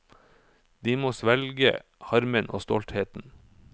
De må svelge harmen og stoltheten.